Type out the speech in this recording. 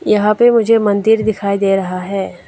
यहां पे मुझे मंदिर दिखाई दे रहा है।